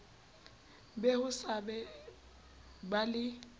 be ho sa ba le